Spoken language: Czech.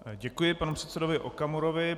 Děkuji panu předsedovi Okamurovi.